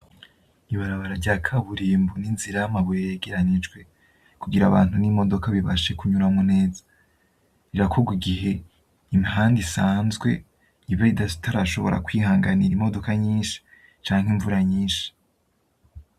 Ibarabara rya kaburimbu n’inzira n’amabuye yegeranyijwe kugira abantu n’imodoka bibashe kunyuramwo neza birakorwa igihe imihanda isanzwe iba itarashobora kwihanganira imodoka nyishi canke imvura nyishi.